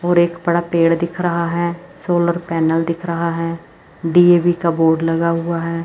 और एक बड़ा पेड़ दिख रहा है सोलर पैनल दिख रहा है डी_ए_वी का बोर्ड लगा हुआ है।